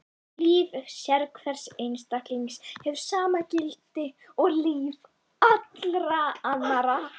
Líf sérhvers einstaklings hefur sama gildi og líf allra annarra.